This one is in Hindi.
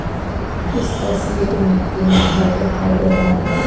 इस तस्वीर में तीन घर दिखाई दे रहा है.